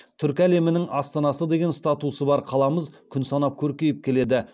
түркі әлемінің астанасы деген статусы бар қаламыз күн санап көркейіп келеді